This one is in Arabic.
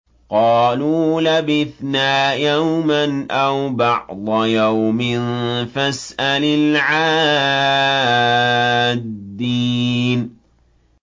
قَالُوا لَبِثْنَا يَوْمًا أَوْ بَعْضَ يَوْمٍ فَاسْأَلِ الْعَادِّينَ